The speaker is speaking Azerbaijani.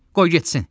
Qoy getsin.